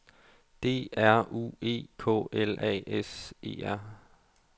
D R U E K L A S E R